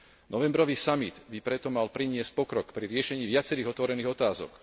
Novembrový samit by preto mal priniesť pokrok pri riešení viacerých otvorených otázok.